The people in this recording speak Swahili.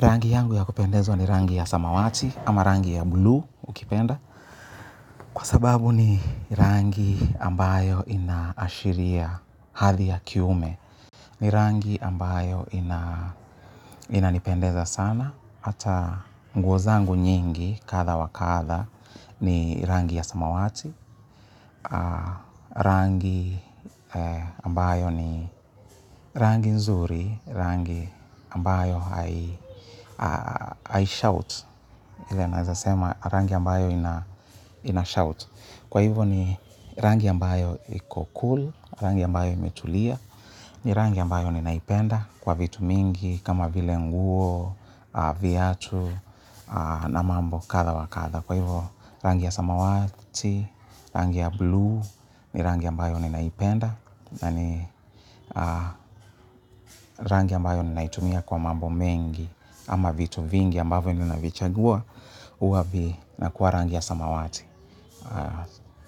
Rangi yangu ya kupendezwa ni rangi ya samawati ama rangi ya blue ukipenda. Kwa sababu ni rangi ambayo inaashiria hadhi ya kiume. Ni rangi ambayo ina, inanipendeza sana. Hata nguo zangu nyingi kadha wakadha ni rangi ya samawati. Rangi ambayo ni rangi nzuri, rangi ambayo hai, haishout. Ile naeza sema rangi ambayo inashout. Kwa hivo ni rangi ambayo iko cool, rangi ambayo imetulia. Ni rangi ambayo ninaipenda kwa vitu mingi kama vile nguo, viatu na mambo kadha wakadha. Kwa hivo rangi ya samawati, rangi ya blue ni rangi ambayo ninaipenda. Na ni rangi ambayo ninaitumia kwa mambo mengi ama vitu vingi ambavyo nina vichagua huwa vinakuwa rangi ya samawati.